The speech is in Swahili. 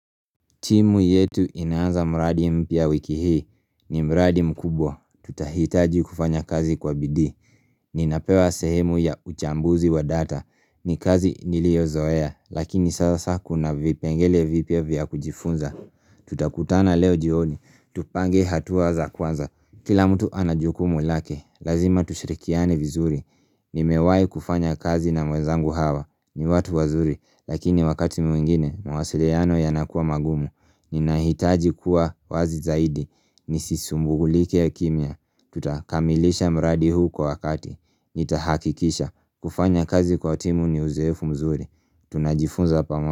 Timu yetu inaanza mradi mpya wiki hii ni mraadi mkubwa. Tutahitaji kufanya kazi kwa bidii Ninapewa sehemu ya uchambuzi wa data. Ni kazi niliozoea lakini sasa kuna vipengele vipya vya kujifunza. Tutakutana leo jioni. Tupange hatua za kwanza. Kila mtu ana jukumu lake. Lazima tushirikiane vizuri. Nimewai kufanya kazi na wezangu hawa. Ni watu wazuri lakini wakati mwingine mawasiliano yanakua magumu. Ninahitaji kuwa wazi zaidi. Nisisumbulike kimya. Tutakamilisha mradi huu kwa wakati, nitahakikisha. Kufanya kazi kwa timu ni uzoefu mzuri, tunajifunza pamoja.